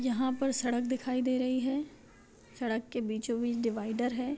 यहाँ पर सड़क दिखाई दे रही है सड़क के बीचों-बीच डिवाइडर है।